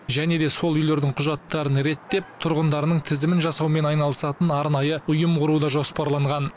және де сол үйлердің құжаттарын реттеп тұрғындарының тізімін жасаумен айналысатын арнайы ұйым құру да жоспарланған